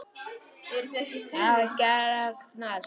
Hvað gerist næst?